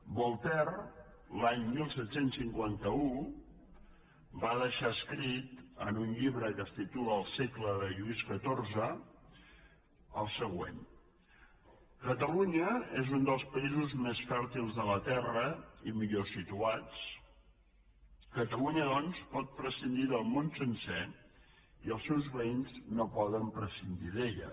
voltaire l’any disset cinquanta u va deixar escrit en un llibre que es titula és un dels països més fèrtils de la terra i millor situats catalunya doncs pot prescindir del món sencer i els seus veïns no poden prescindir d’ella